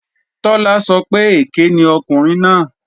Tọ́lá sọ pé èké ni ọkùnrin náà